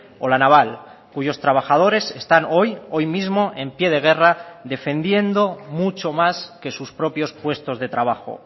o la naval cuyos trabajadores están hoy hoy mismo en pie de guerra defendiendo mucho más que sus propios puestos de trabajo